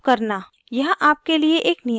यहाँ आपके लिए एक नियत कार्य है